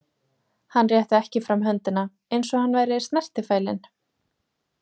Hann rétti ekki fram höndina, eins og hann væri snertifælinn.